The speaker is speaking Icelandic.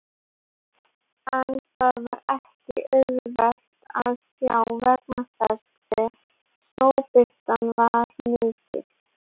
En það var ekki auðvelt að sjá vegna þess hve snjóbirtan var mikil.